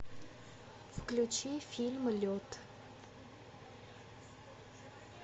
включи фильм лед